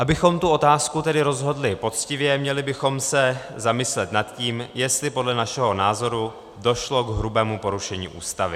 Abychom tu otázku tedy rozhodli poctivě, měli bychom se zamyslet nad tím, jestli podle našeho názoru došlo k hrubému porušení Ústavy.